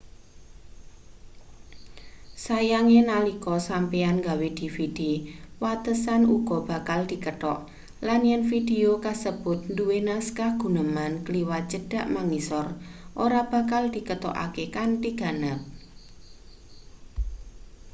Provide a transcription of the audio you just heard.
sayange nalika sampeyan nggawe dvd watesan uga bakal dikethok lan yen vidio kasebut duwe naskah guneman kliwat cedhak mangisor ora bakal diketokake kanthi ganep